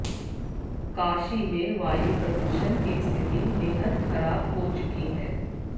काशी में वायु प्रदूषण की स्थिति बेहद खराब हो चुकी है